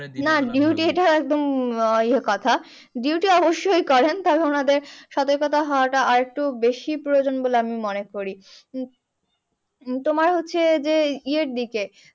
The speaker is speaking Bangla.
না duty এটা একদম ইয়ে কথা। duty অবশ্যই করেন ওনাদের সতর্কতা হওয়াটা আরেকটু বেশি প্রয়োজন বলে আমি মনে করি। তোমার হচ্ছে যে ইয়ের দিকে